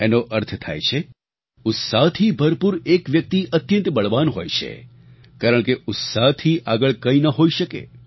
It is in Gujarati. તેનો અર્થ થાય છે ઉત્સાહથી ભરપૂર એક વ્યક્તિ અત્યંત બળવાન હોય છે કારણકે ઉત્સાહથી આગળ કંઈ ન હોઈ શકે